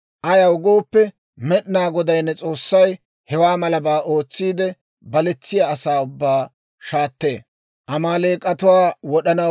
Ayaw gooppe, Med'inaa Goday ne S'oossay hewaa malabaa ootsiide, baletsiyaa asaa ubbaa shaattee.